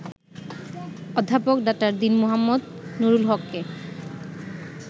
অধ্যাপক ডা. দীন মো. নুরুল হককে